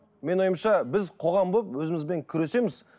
менің ойымша біз қоғам болып өзімізбен күресеміз